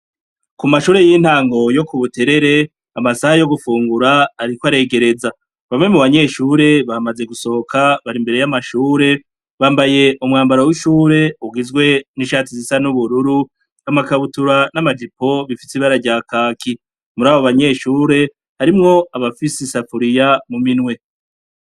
Ku mashure y'intango yo ku Buterere, amasaha yo gufungura ariko aregereza. Bamwe mu banyeshure bamaze gusohoka, bari imbere y'amashure, bambaye umwambaro w'ishure ugizwe n'ishati zisa n'ubururu, amakabutura n'amajipo bifise ibara rya kaki. Muri abo banyeshure, harimwo abafise isafuriya mu minwe.